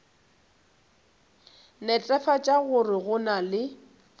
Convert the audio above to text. netefatša gore go na le